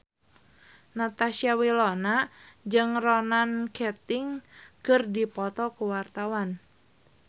Natasha Wilona jeung Ronan Keating keur dipoto ku wartawan